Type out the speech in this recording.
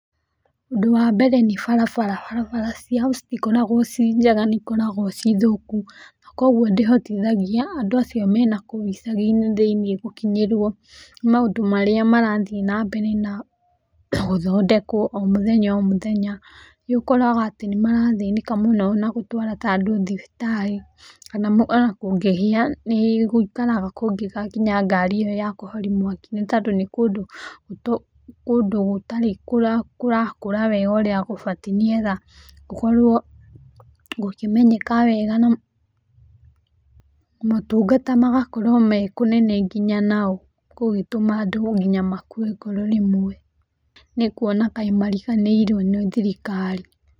Ũndũ wa mbere nĩ barabara, barabara ciao citikoragwo ciĩ njega nĩ ĩkoragwo ciĩ thũku, na koguo ndĩhotithagia andũ acio mena kũu icagi-inĩ thĩiniĩ gũkinyĩrwo nĩ maũndũ marĩa marathiĩ na mbere na gũthondekwo o mũthenya o mũthenya, nĩũkoraga ati nĩ marathĩnĩka mũno na gũtwara ta andũ thibitarĩ, kana ona kũngĩhĩa nĩ gũikaraga kũngĩgakinya ngari ĩyo ya kũhoria mwaki, nĩ tondũ nĩ kũndũ gũtarĩ kũrakũra wega ũrĩa gũbatiĩ, nĩgetha gũkorwo gũkĩmenyeka wega, na motungata magakorwo me kũnene nginya nao, gũgĩtũma andũ nginya makue ngoro rĩmwe, nĩ kuona kaĩ mariganĩirwo nĩ thirikari.